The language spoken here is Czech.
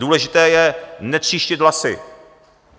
Důležité je netříštit hlasy.